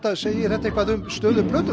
segir þetta eitthvað um stöðu plötunnar